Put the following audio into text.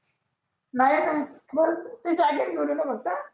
नाही नाही मग ते जॅकेट घेऊन येऊ का फक्त?